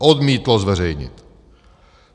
- Odmítlo zveřejnit!